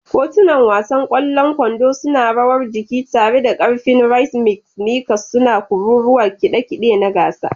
Kotunan wasan ƙwallon kwando suna rawar jiki tare da ƙarfin rhythmic, sneakers suna kururuwar kide kide na gasa.